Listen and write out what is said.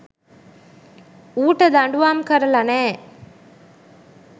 ඌට දඬුවම් කරලා නෑ.